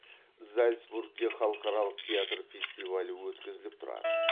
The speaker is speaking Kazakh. зальцбургте халықаралық театр фестивалі өткізіліп тұрады